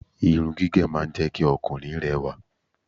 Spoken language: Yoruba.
irun gígé máa ń jẹ́ kí Ọkùnrin rẹwà